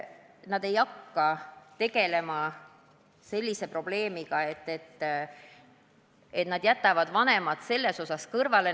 Nad ei jäta vanemaid niisama kõrvale.